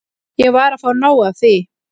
Ég var að fá nóg af því.